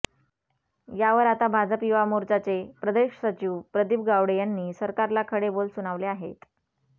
यावर आता भाजप युवा मोर्चाचे प्रदेश सचिव प्रदीप गावडे यांनी सरकारला खडे बोल सुनावले आहेत